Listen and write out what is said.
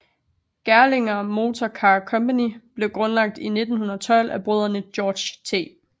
Gerlinger Motor Car Company blev grundlagt i 1912 af brødrende George T